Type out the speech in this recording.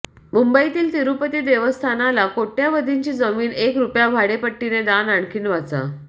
मुंबईतील तिरूपती देवस्थानाला कोट्यावधींची जमीन एक रुपया भाडेपट्टीने दान आणखी वाचा